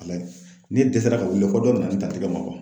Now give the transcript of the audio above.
Ne dɛsɛra ka wili fɔ dɔ nana ne ta tɛgɛ ma